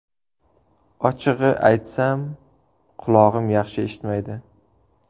Ochig‘i aytsam, qulog‘im yaxshi eshitmaydi.